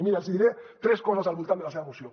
mirin els hi diré tres coses al voltant de la seva moció